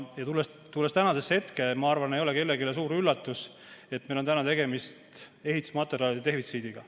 Tulles tänasesse hetke, ma arvan, et ei ole kellelegi suur üllatus, et meil on tegemist ehitusmaterjalide defitsiidiga.